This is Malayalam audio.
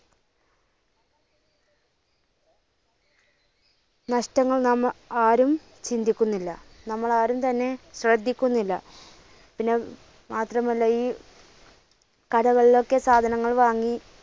നഷ്ടങ്ങൾ നാം ആരും ചിന്തിക്കുന്നില്ല, നമ്മൾ ആരും തന്നെ ശ്രദ്ധിക്കുന്നില്ല. പിന്നെ മാത്രമല്ല ഈ കടകളിലൊക്കെ സാധനങ്ങൾ വാങ്ങി